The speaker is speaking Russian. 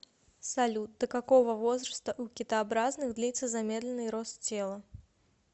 салют до какого возраста у китообразных длится замедленный рост тела